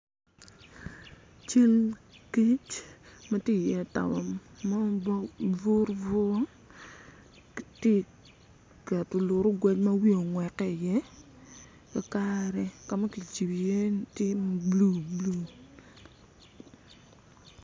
Cal kic matye i toka bong bong bur bur gitye keto lurogwe ma wiye ongwete i ye kakare kama cibo i ye tin glu glu.